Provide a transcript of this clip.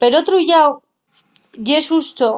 per otru llau ye xusto